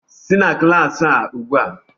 Si na klaasị a ugbu a!